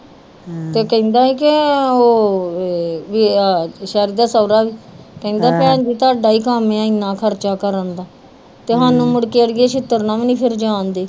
ਕਹਿੰਦਾ ਸ਼ੈਰੀ ਦਾ ਸੋਹਰਾ ਕਹਿੰਦਾ ਭੈਣ ਜੀ ਤਾਡਾ ਈ ਕਮ ਯਾ ਏਨਾ ਖਰਚਾ ਕਰਨ ਦਾ ਤੇ ਸਾਨੂੰ ਮੁੜ ਕੇ ਅੜੀਏ ਚਿੱਤਰ ਨਾਲ ਵੀ ਨੀ ਫੇਰ ਜਾਨ ਦੇ